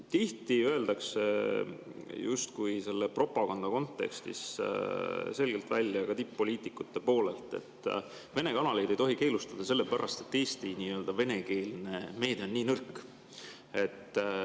Tihti öeldakse selle propaganda kontekstis selgelt välja, ka tipp-poliitikute poolelt, et Vene kanaleid ei tohi keelustada, sellepärast et Eesti venekeelne meedia on nõrk.